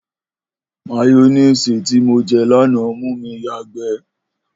Máyó̩néèsì tí mo je̩ lánàá mú mi yàgbé̩